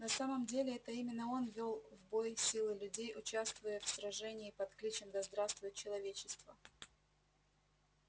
на самом деле это именно он вёл в бой силы людей участвуя в сражении с кличем да здравствует человечество